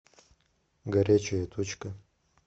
горячая точка